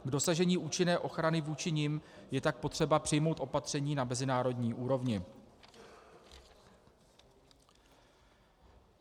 K dosažení účinné ochrany vůči nim je tak potřeba přijmout opatření na mezinárodní úrovni.